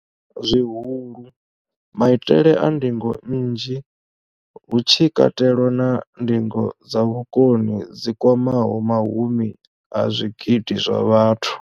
Zwihulu, maitele a ndingo nnzhi, hu tshi katelwa na ndingo dza vhukoni dzi kwamaho mahumi a zwigidi zwa vhathu.